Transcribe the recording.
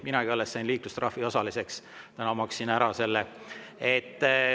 Minagi alles sain liiklustrahvi osaliseks, täna maksin ära selle.